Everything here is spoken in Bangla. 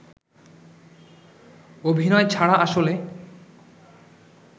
অভিনয় ছাড়া আসলে